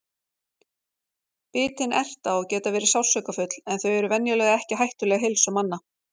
Bitin erta og geta verið sársaukafull en þau eru venjulega ekki hættuleg heilsu manna.